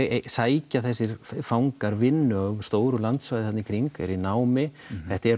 sækja þessir fangar vinnu á stóru landsvæði þarna í kring eru í námi þetta er